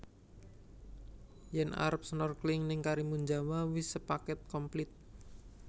Yen arep snorkling ning Karimunjawa wis sepaket komplit